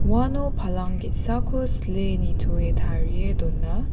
uano palang ge·sako sile nitoe tarie dona.